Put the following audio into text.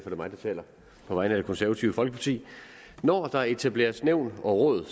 er mig der taler på vegne af det konservative folkeparti når der etableres nævn og råd